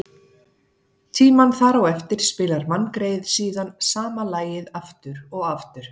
tímann þar á eftir spilar manngreyið síðan sama lagið aftur og aftur.